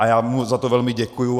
A já mu za to velmi děkuji.